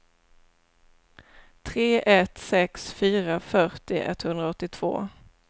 tre ett sex fyra fyrtio etthundraåttiotvå